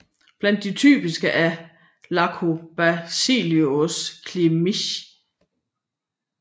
Blandt de typiske er Lactobacillus kimchii